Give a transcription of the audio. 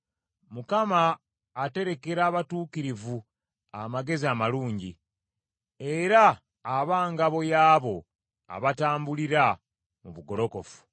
Mukama aterekera abatuukirivu amagezi amalungi, era aba ngabo y’abo abatambulira mu bugolokofu.